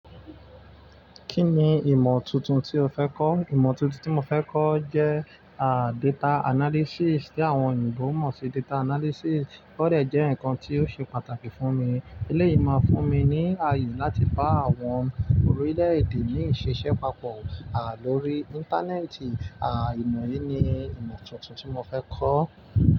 Kí ni ìmọ̀ tuntun tí o fẹ́ kọ́? Ìmọ̀ tuntun tí mo fẹ́ kọ́ jẹ, à, data analysis, tí àwọn òyìnbó ń mọ̀ sí data analysis. Ọ́ dẹ̀ jẹ́ nǹkan tí yóò ṣe pàtàkì fún mi. Eléyìí máa fún mi ní àyè láti bá àwọn orílẹ̀-èdè míì ṣe iṣẹ́ papọ̀, à, lórí Íńtánẹ́ẹ̀tì. À, ìmọ̀ yìí ni ìmọ̀ tuntun tí mo fẹ́ kọ́.